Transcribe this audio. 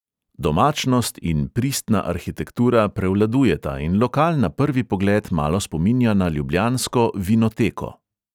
Domačnost in pristna arhitektura prevladujeta in lokal na prvi pogled malo spominja na ljubljansko vinoteko.